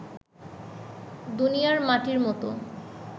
দুনিয়ার মাটির মত